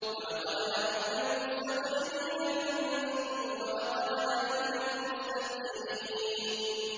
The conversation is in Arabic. وَلَقَدْ عَلِمْنَا الْمُسْتَقْدِمِينَ مِنكُمْ وَلَقَدْ عَلِمْنَا الْمُسْتَأْخِرِينَ